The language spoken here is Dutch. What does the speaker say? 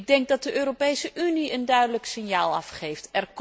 Ik denk dat de Europese Unie een duidelijk signaal afgeeft.